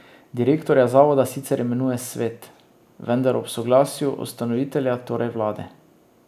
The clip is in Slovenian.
Direktorja zavoda sicer imenuje svet, vendar ob soglasju ustanovitelja, torej vlade.